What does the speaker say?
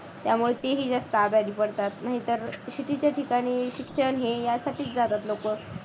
त्यामुळे ते जास्त आजारी पडतात नाहीतर city च्या ठिकाणी शिक्षण हे यासाठी जातात लोकं.